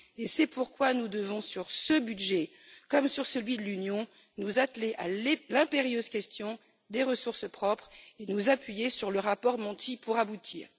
C'est pourquoi nous devons, sur ce budget comme sur celui de l'Union, nous atteler à l'impérieuse question des ressources propres et nous appuyer sur le rapport Monti pour aboutir.